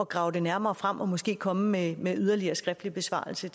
grave det nærmere frem og måske komme med en yderligere skriftlig besvarelse